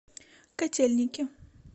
котельники